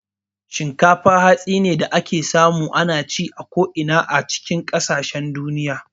Shinkafa hatsi ne da ake samu a ko'ina. Ana ci a kasashen duniya